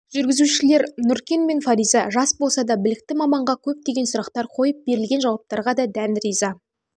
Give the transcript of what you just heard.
жүргізушілер нүркен мен фариза жас болса да білікті маманға көптеген сұрақтар қойып берілген жауаптарға дән риза